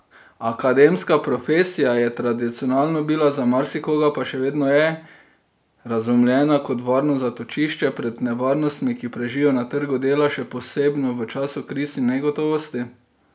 Akademska profesija je tradicionalno bila, za marsikoga pa še vedno je, razumljena kot varno zatočišče pred nevarnostmi, ki prežijo na trgu dela, še posebno v času kriz in negotovosti.